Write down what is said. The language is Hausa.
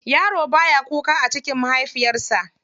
Yaro baya kuka a cikin mahaifiyarsa.